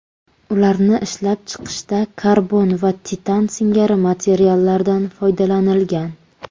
Ularni ishlab chiqishda karbon va titan singari materiallardan foydalanilgan.